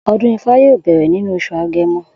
O̩dún ifá yóò bè̩rè̩ nínú os̩ù Age̩mo̩